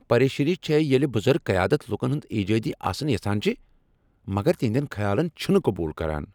پریشانی چھےٚ زِ ییلہِ بزرگ قیادت لوٗكن ہُند ایجٲدی آسُن یژھان چھِ مگر تہندین خیالن چھنہٕ قبول كران ۔